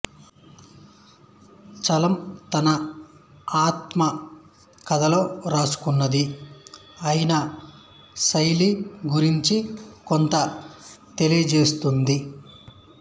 చలం తన ఆత్మ కథలో వ్రాసుకున్నది ఆయన శైలి గురించి కొంత తెలియచేస్తుంది